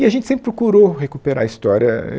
E a gente sempre procurou recuperar a história.